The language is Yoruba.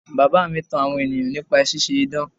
Bàbá mi tan àwọn ènìyàn nípa ṣíṣe idán.